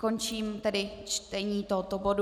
Končím tedy čtení tohoto bodu.